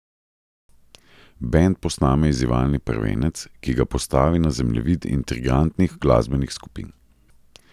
Bend posname izzivalni prvenec, ki ga postavi na zemljevid intrigantnih glasbenih skupin.